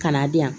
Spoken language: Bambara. Kana diyan